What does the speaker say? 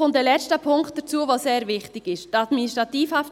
Ein letzter Punkt, der sehr wichtig ist, kommt hinzu.